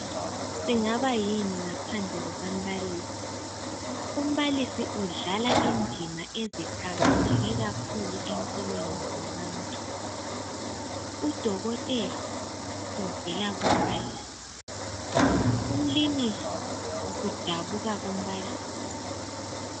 Singaba yini ngaphandle kukambalisi. Umbalisi udlala indima eziqakatheke kakhulu empilweni zabantu. Udokotela uvela kumbalisi, umlimisi udabuka kumbalisi.